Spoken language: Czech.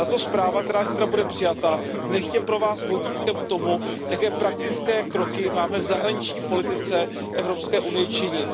Tato zpráva, která zítra bude přijata, nechť je pro Vás vodítkem k tomu, jaké praktické kroky máme v zahraniční politice EU činit.